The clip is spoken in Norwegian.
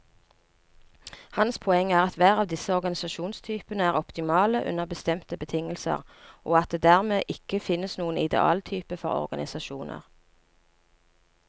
Hans poeng er at hver av disse organisasjonstypene er optimale under bestemte betingelser, og at det dermed ikke finnes noen idealtype for organisasjoner.